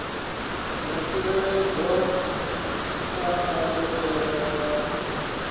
dza tsireledzwa kha ndayotewa ya